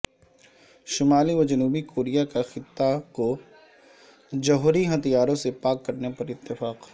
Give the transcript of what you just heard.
شمالی و جنوبی کوریا کا خطے کو جوہری ہتھیاروں سے پاک کرنے پر اتفاق